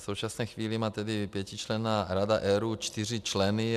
V současné chvíli má tedy pětičlenná Rada ERÚ čtyři členy.